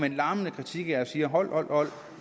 en lammende kritik og siger hold hold